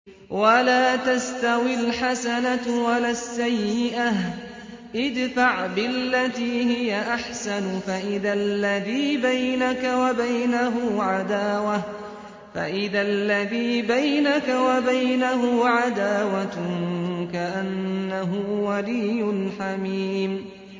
وَلَا تَسْتَوِي الْحَسَنَةُ وَلَا السَّيِّئَةُ ۚ ادْفَعْ بِالَّتِي هِيَ أَحْسَنُ فَإِذَا الَّذِي بَيْنَكَ وَبَيْنَهُ عَدَاوَةٌ كَأَنَّهُ وَلِيٌّ حَمِيمٌ